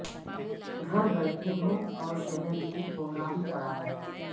گھر بیٹھے ہو اور شہر میں کہرام پڑا ہے